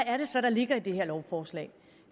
er det så der ligger i det her lovforslag